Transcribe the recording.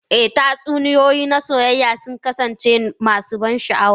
Eh, tatsuniyoyi na soyayya sun kasance masu ban sha'awa.